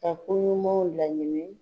koɲumanw laɲini.